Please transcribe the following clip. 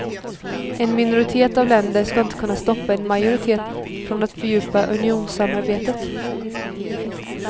En minoritet av länder ska inte kunna stoppa en majoritet från att fördjupa unionssamarbetet.